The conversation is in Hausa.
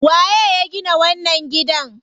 Waye ya gina wannan gidan?